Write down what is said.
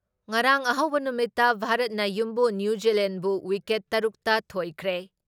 ꯉꯔꯥꯡ ꯑꯍꯧꯕ ꯅꯨꯃꯤꯠꯇ ꯚꯥꯔꯠꯅ ꯌꯨꯝꯕꯨ ꯅ꯭ꯌꯨꯖꯤꯂꯦꯟꯗꯕꯨ ꯋꯤꯀꯦꯠ ꯇꯔꯨꯛ ꯇ ꯊꯣꯏꯈ꯭ꯔꯦ ꯫